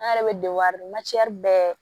An yɛrɛ bɛ bɛɛ